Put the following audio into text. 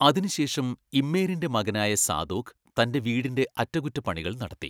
അതിനുശേഷം ഇമ്മേരിൻ്റെ മകനായ സാദോക്ക് തൻ്റെ വീടിൻ്റെ അറ്റകുറ്റപ്പണികൾ നടത്തി.